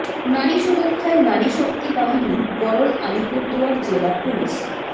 নারী সুরক্ষায় নারী শক্তি বাহিনী গড়ল আলিপুরদুয়ার জেলা পুলিশ